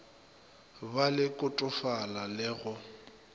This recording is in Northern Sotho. be le kotofala le go